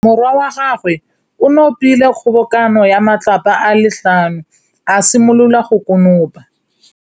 Morwa wa gagwe o nopile kgobokanô ya matlapa a le tlhano, a simolola go konopa.